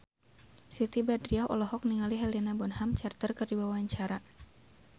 Siti Badriah olohok ningali Helena Bonham Carter keur diwawancara